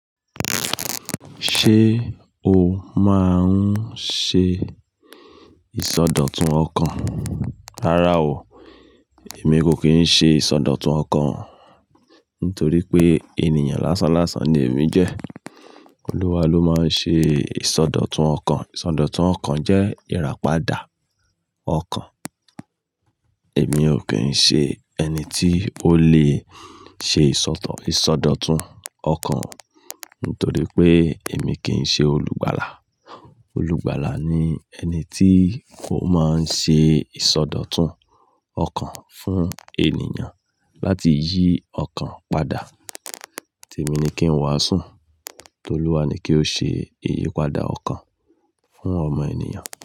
Ṣé o máa ń ṣe ìsọdọ̀tun ọkàn? Rárá o, èmi kò kí ń ṣe ìsọdọ̀tun ọkàn nítorí pé ènìyàn lásán lásán ni èmi jẹ́. Olúwa ló máa ń ṣe ìsọdọ̀tun ọkàn. Ìsọdọ̀tun ọkàn jẹ́ ìràpadà ọkàn. Èmi ò kí ń ṣe ẹni tí ó lè ṣe ìsọdọ̀ ìsọdọ̀tun ọkàn nítorí pé èmi kì í ṣe olùgbàlà. Olùgbàlà ni ẹni tí ó máa ń ṣe ìsọdọ̀tun ọkàn fún ènìyàn láti yí ọkàn padà. Tèmi ní kí n wàásù, TOlúwa ni kí ó ṣe ìyípadà ọkàn fún ọmọ ènìyàn.